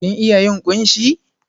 Kin iya yin ƙunshi?